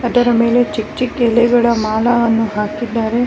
ಅದರ ಮೇಲೆ ಚಿಕ್ಕ್ ಚಿಕ್ಕ್ ಎಲೆಗಳ ಮಾಲೆಯನ್ನ ಹಾಕಿದ್ದಾರೆ .